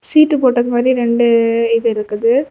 சீட்டு போட்ட மாறி ரெண்டு இது இருக்குது.